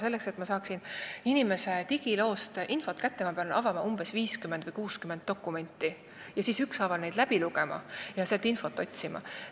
Selleks, et ma saaksin inimese digiloost infot kätte, ma pean avama umbes 50 või 60 dokumenti, siis ükshaaval need läbi lugema ja sealt infot otsima.